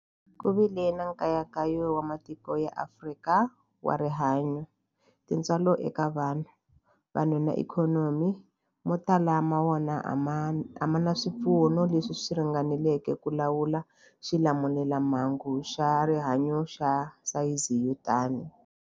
Ku vile nkayakayo wa matiko ya Afrika wa rihanyu, tintswalo eka vanhu, vanhu na ikhonomi, mo tala ma wona a ma na swipfuno leswi ringaneleke ku lawula xilamulelamhangu xa rihanyu xa sayizi yo tani.